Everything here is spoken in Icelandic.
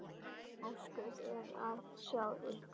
Ósköp er að sjá ykkur.